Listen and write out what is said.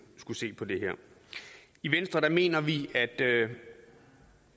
skulle se på det her i venstre mener vi at